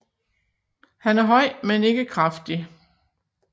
Han er høj men ikke kraftig